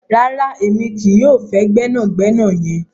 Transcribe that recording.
Rárá, emi kìí yọ fẹ́ gbẹnàgbẹ̀nà yẹn.